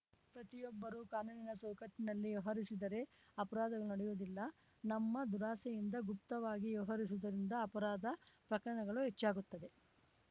ಪ್ರತಿಬ್ಬರೂ ಕಾನೂನಿನ ಚೌಕಟ್ಟಿನಲ್ಲಿ ವ್ಯವಹರಿಸಿದರೆ ಅಪರಾಧಗಳು ನಡೆಯುವುದಿಲ್ಲ ನಮ್ಮ ದುರಾಸೆಯಿಂದ ಗುಪ್ತವಾಗಿ ವ್ಯವಹರಿಸುವುದರಿಂದ ಅಪರಾಧ ಪ್ರಕರಣಗಳು ಹೆಚ್ಚಾಗುತ್ತದೆ